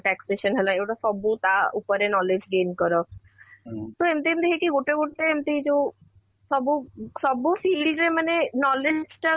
taxation ହେଲା ଏ ଗୁଡା ସବୁ ତା ଉପରେ knowledge gain କର ତ ଏମିତି ଏମିତି ହେଇକି ଗୋଟେ ଗୋଟେ ଏମିତି ଯୋଉ ସବୁ ସବୁ ସିଡ଼ି ରେ ମାନେ knowledge ଟା